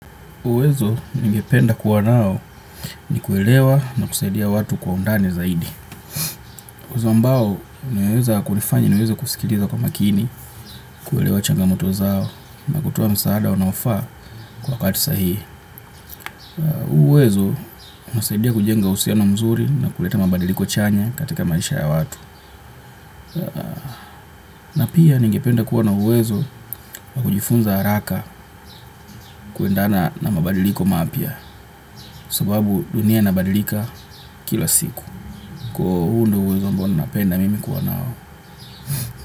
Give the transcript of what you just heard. Uwezo ningependa kuwa nao ni kuelewa na kusaidia watu kwa undani zaidi. Uwezo ambao, unaweza kunifanya niweze kusikiliza kwa makini, kuelewa changamoto zao, na kutoa msaada unaofaa kwa wakati sahihi. Huu uwezo, husaidia kujenga uhusiano mzuri na kuleta mabadiliko chanya katika maisha ya watu. Na pia, ningependa kuwa na uwezo wa kujifunza haraka kuendana na mabadiliko mapya, sababu dunia inabadilika kila siku. Kwa hio huu ndio uwezo ambao ninapenda mimi kuwa nao.